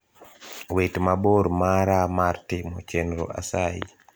wit mabor mara mar timo chenro asayi